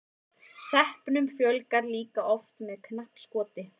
sepunum fjölgar líka oft með knappskoti